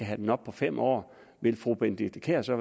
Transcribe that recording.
have den op på fem år ville fru benedikte kiær så